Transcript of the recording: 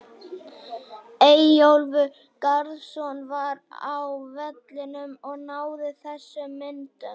Eyjólfur Garðarsson var á vellinum og náði þessum myndum.